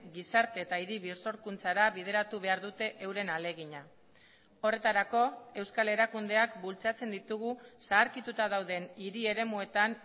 gizarte eta hiri birsorkuntzara bideratu behar dute euren ahalegina horretarako euskal erakundeak bultzatzen ditugu zaharkituta dauden hiri eremuetan